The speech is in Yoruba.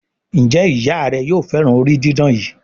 Njé Ìyá rẹ yóò féràn orí didán yí?